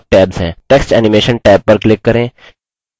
text animation tab पर click करें